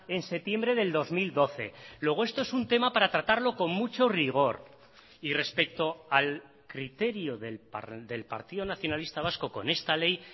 en septiembre del dos mil doce luego esto es un tema para tratarlo con mucho rigor y respecto al criterio del partido nacionalista vasco con esta ley